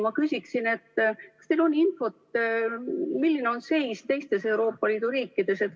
Ma küsin, kas teil on infot, milline on seis teistes Euroopa Liidu riikides.